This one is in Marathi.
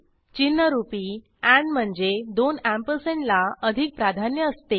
चिन्हरूपी एंड म्हणजे दोन अँपरसँड ला अधिक प्राधान्य असते